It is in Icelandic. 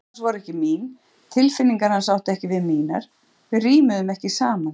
Áhugamál hans voru ekki mín, tilfinningar hans áttu ekki við mínar, við rímuðum ekki saman.